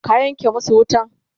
ka Yanke masu wutan!